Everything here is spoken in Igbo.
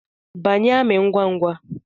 Banye amị ngwa ngwa!